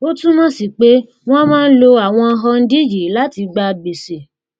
ó túmọ sí pé wọn máa ń lo àwọn hundí yìí láti gba gbèsè